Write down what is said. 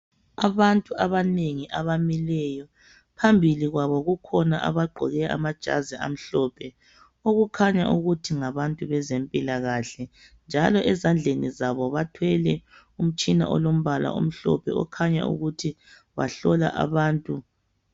Abantu abanengi abamileyo. Phambili kwabo kukhona abagqoke amajazi amhlophe. Okukhanya okuthi ngabantu bezempilakahle, njalo ezandleni zabo, bathwele umtshina olombala omhlophe. Okukhanya ukuthi bahlola abantu.